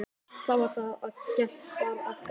Þá var það að gest bar að garði.